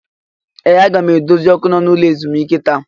Ee! Aga m edozi ọkụ nọ n'ime ụlọ ezumike taa.